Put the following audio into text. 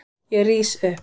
Ég rís upp.